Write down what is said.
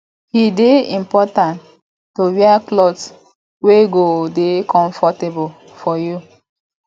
e de important to wear cloth wey go de comfortable for you